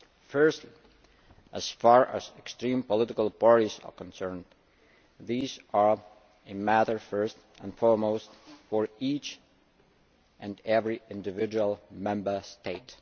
Firstly, as far as extreme political parties are concerned, these are a matter first and foremost for each and every individual Member State.